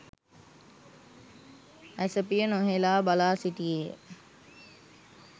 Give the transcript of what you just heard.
ඇසපිය නොහෙලා බලාසිටියේය.